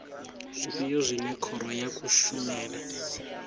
zwifhio zwine khoro ya kushemele